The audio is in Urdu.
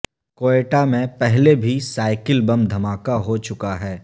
کوئٹہ میں پہلے بھی سائیکل بم دھماکہ ہو چکا ہے